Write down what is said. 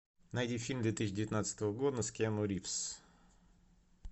найди фильм две тысячи девятнадцатого года с киану ривз